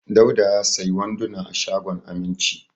Dauda ya sayi wanduna a shagon Aminci.